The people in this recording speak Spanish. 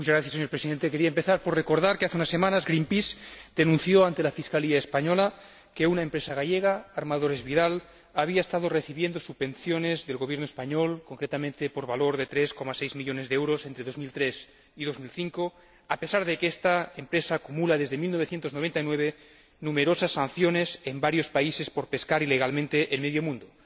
Señor Presidente, quería empezar por recordar que hace unas semanas Greenpeace denunció ante la Fiscalía española que una empresa gallega, Armadores Vidal, había estado recibiendo subvenciones del Gobierno español, concretamente por valor de 3,6 millones de euros, entre 2003 y 2005, a pesar de que esta empresa acumula desde 1999 numerosas sanciones en varios países por pescar ilegalmente en medio mundo.